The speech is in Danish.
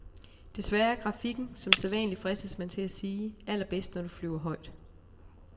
Desværre er grafikken, som sædvanlig fristes man til at sige, allerbedst, når du flyver højt.